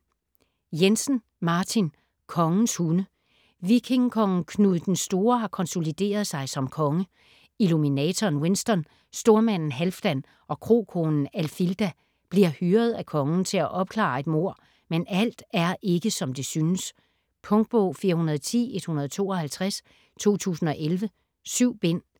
Jensen, Martin: Kongens hunde Vikingekongen Knud den Store har konsolideret sig som konge. Illuminatoren Winston, stormanden Halfdan og krokonen Alfilda bliver hyret af kongen til at opklare et mord, men alt er ikke, som det synes. Punktbog 410152 2011. 7 bind.